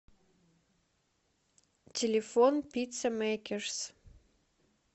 телефон пицца мэйкерс